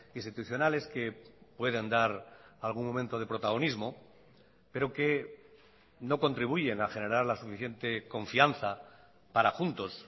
institucionales que puedan dar algún momento de protagonismo pero que no contribuyen a generar la suficiente confianza para juntos